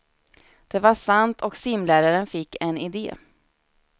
Det var sant och simläraren fick en idé.